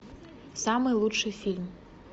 самый лучший фильм